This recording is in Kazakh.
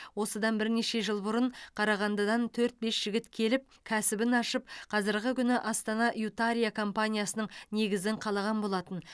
осыдан бірнеше жыл бұрын қарағандыдан төрт бес жігіт келіп кәсібін ашып қазіргі күні астана ютария компаниясының негізін қалаған болатын